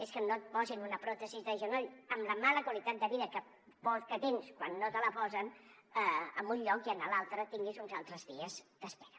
és que no et posin una pròtesi de genoll amb la mala qualitat de vida que tens quan no te la posen en un lloc i en l’altre tinguis uns altres dies d’espera